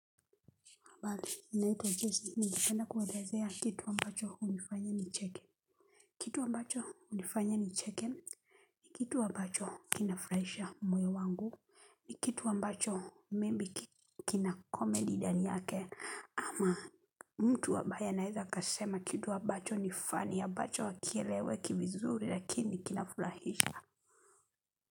Habari naitwa jasmin ningependa kuelezea kitu ambacho hunifanya nicheke kitu amacho hunifanya nicheke kitu ambacho kinafurahisha moyo wangu ni kitu ambacho maybe kina comedy ndani yake ama mtu ambae anaweza akasema kitu ambacho ni funny ambacho hakieleweki vizuri lakini kinafurahisha.